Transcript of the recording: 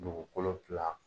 Dugukolo kila.